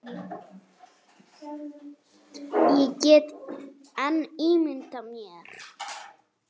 Ég get enn ímyndað mér!